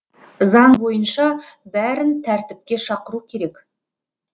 заң бойынша бәрін тәртіпке шақыру керек